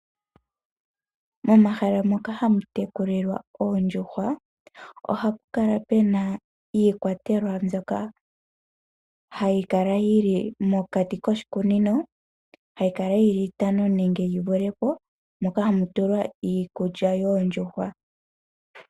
Momahala moka hamu tekulilwa oondjuhwa ohamu kala mu na iikwatelwa mbyoka hayi kala yi li mokati koshikunino hayi kala yi li itano nenge yi vule po. Moka hamu tulwa iikulya yoondjuhwa.